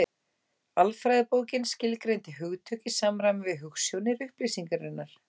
Alfræðibókin skilgreindi hugtök í samræmi við hugsjónir upplýsingarinnar.